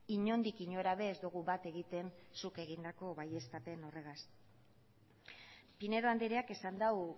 inondik inora ere ez dugu bat egiten zuk egindako baieztapen horregaz pinedo andreak esan du